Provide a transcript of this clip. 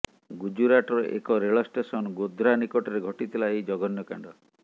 ଗୁଜରାଟର ଏକ ରେଳ ଷ୍ଟେସନ ଗୋଧ୍ରା ନିକଟରେ ଘଟିଥିଲା ଏହି ଜଘନ୍ୟ କାଣ୍ଡ